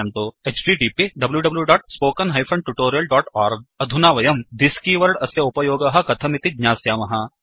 httpwwwspoken tutorialओर्ग अधुना वयं thisदिस्कीवर्ड् अस्य उपयोगः कथमिति ज्ञास्यामः